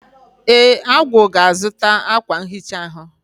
E, Agwu ga-azuta ahu.